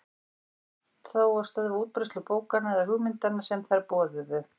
Ekki tókst þó að stöðva útbreiðslu bókanna eða hugmyndanna sem þær boðuðu.